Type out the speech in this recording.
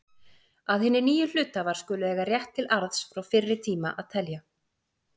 að hinir nýju hluthafar skulu eiga rétt til arðs frá fyrri tíma að telja.